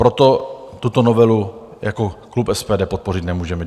Proto tuto novelu jako klub SPD podpořit nemůžeme.